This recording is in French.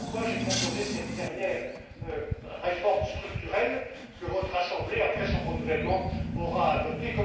européenne. Voilà pourquoi j'ai proposé cette dernière réforme structurelle, que votre assemblée, après son renouvellement, aura